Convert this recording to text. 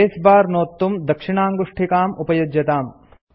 space bar नोत्तुं दक्षिणाङ्गुष्ठिकाम् उपयुज्यताम्